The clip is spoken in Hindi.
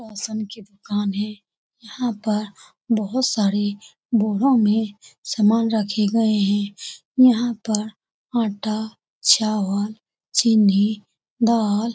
राशन की दुकान है यहाँ पर बहुत सारे बोरो में सामान रखे गए हैं यहाँ पर आटा चावल चीनी दाल --